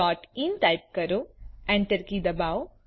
googlecoઇન type કરી Enter key દબાવો